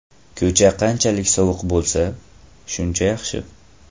Ko‘cha qanchalik sovuq bo‘lsa, shuncha yaxshi.